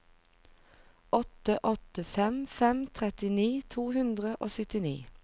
åtte åtte fem fem trettini to hundre og syttini